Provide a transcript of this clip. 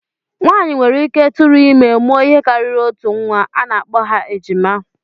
Nwaanyị nwereike tụrụ ime, mụọ ihe karịrị otu nnwa, a na-akpọ ha ejima